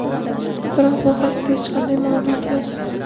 Biroq bu haqida hech qanday ma’lumot yo‘q.